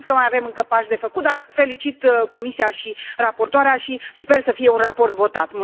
Cred că mai avem încă pași de făcut, dar felicit Comisia și raportoarea și sper să fie un raport votat.